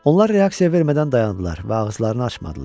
Onlar reaksiya vermədən dayandılar və ağızlarını açmadılar.